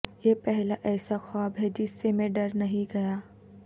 یہ پہلا ایسا خواب ہے جس سے میں ڈر نہیں گیا